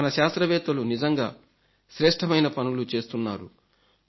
మన శాస్త్రవేత్తలు నిజంగా శ్రేష్ఠమైన పనులు చేస్తున్నారు